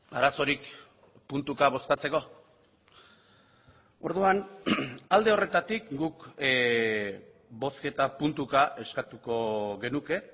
arazorik puntuka bozkatzeko orduan alde horretatik guk bozketa puntuka eskatuko genuke